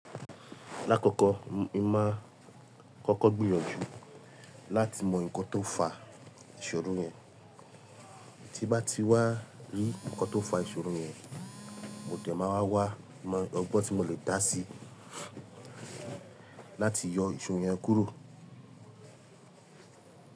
Lákọ̀ọ̀kọ̀, mo máa kọ́kọ́ gbìyànjú láti mọ ǹkan tó fa ìṣòro yẹn. Tí n bá ti wá rí ǹkan tó ń fa ìṣòro yẹn, mo dẹ̀ máa wá wà mọ ọgbọ́n tí mo lè dá sí láti yọ ìṣòro yẹn kúrò.